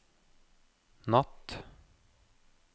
natt